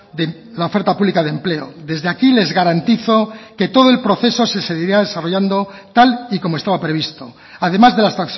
de la oferta pública de empleo desde aquí les garantizo que todo el proceso se seguirá desarrollando tal y como estaba previsto además de las